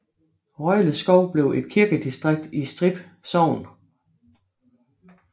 Røjleskov blev et kirkedistrikt i Strib Sogn